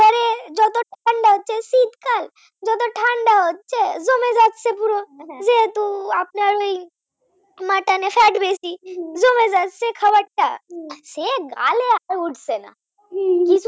সে আর গালে উঠছে না।